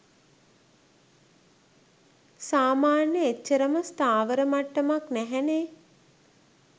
සාමාන්‍ය එච්චරම ස්ථාවර මට්ටමක් නැහැනේ.